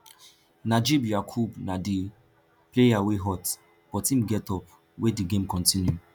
najeeb yakubu na di player wey hurt but im get up wey di game continue